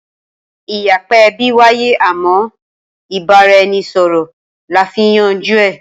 Ìyapa ẹbí wáyé àmọ́ ìbára-ẹni-sọ̀rọ̀ la fi ń yanjú ẹ